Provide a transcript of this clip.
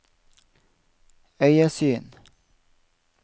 øyesyn